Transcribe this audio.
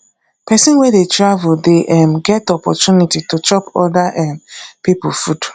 pesin wey dey travel dey um get opportunity to chop oda um pipo food